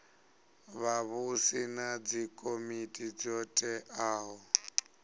vhavhusi na dzikomiti dzo teaho